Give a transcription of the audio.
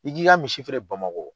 I k'i ka misi feere Bamakɔ.